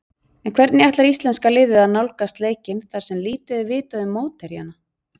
En hvernig ætlar íslenska liðið að nálgast leikinn þar sem lítið er vitað um mótherjana?